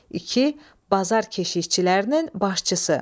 İki, bazar keşişçilərinin başçısı.